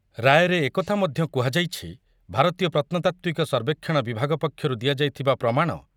ରାୟରେ ଏକଥା ମଧ୍ୟ କୁହାଯାଇଛି, ଭାରତୀୟ ପ୍ରତ୍ନତାତ୍ତ୍ୱିକ ସର୍ବେକ୍ଷଣ ବିଭାଗ ପକ୍ଷରୁ ଦିଆଯାଇଥିବା ପ୍ରମାଣ